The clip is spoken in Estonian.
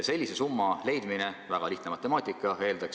Sellise summa leidmine – väga lihtne matemaatika!